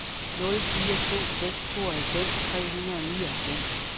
nul fire to seks tooghalvfems tre hundrede og nioghalvfems